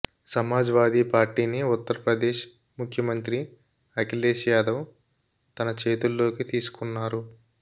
సమాజ్ వాదీపార్టీని ఉత్తర్ ప్రదేశ్ ముఖ్యమంత్రి అఖిలేష్ యాదవ్ తన చేతుల్లోకి తీసుకొన్నారు